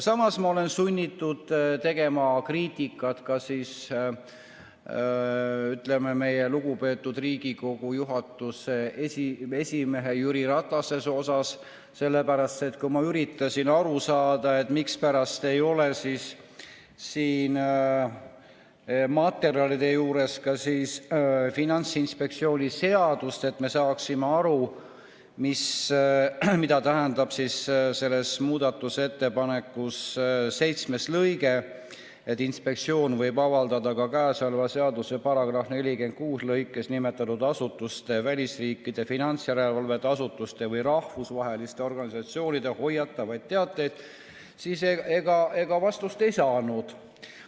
Samas olen ma sunnitud tegema kriitikat ka meie lugupeetud Riigikogu juhatuse esimehe Jüri Ratase kohta, sest kui ma üritasin aru saada, mispärast ei ole siin materjalide juures ka Finantsinspektsiooni seadust, et me saaksime aru, mida tähendab selle seitsmes lõige, mille kohaselt võib inspektsioon "avaldada ka käesoleva seaduse § 46 lõikes 2 nimetatud asutuste, välisriikide finantsjärelevalve asutuste või rahvusvaheliste organisatsioonide hoiatavaid teateid", siis ega ma vastust ei saanud.